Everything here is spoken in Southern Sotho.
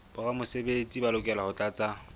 boramesebetsi ba lokela ho tlatsa